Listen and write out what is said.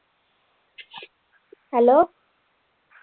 hello